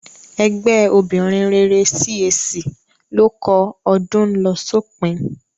Ẹgbẹ́ obìnrin rere CAC ló kọ "Ọdún ń lọ sópin"